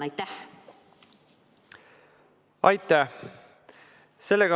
Aitäh!